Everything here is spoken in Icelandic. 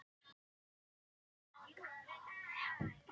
Lögbók Íslendinga.